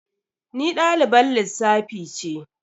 Ni dalibar lissafi ce.